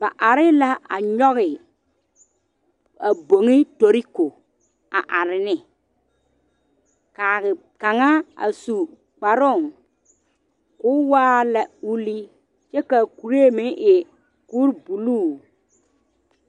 Ba are la a nyɔge a gbori toroko are ne kaa kaŋa a su kparoo ka waa lɛ ulli ka kuree meŋ kuri buluu